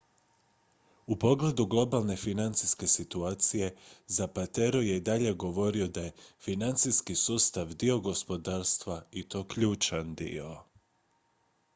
"u pogledu globalne financijske situacije zapatero je i dalje govorio da je "financijski sustav dio gospodarstva i to ključan dio.